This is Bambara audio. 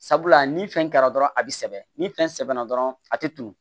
Sabula ni fɛn kɛra dɔrɔn a bi sɛbɛn ni fɛn sɛbɛnna dɔrɔn a te tunun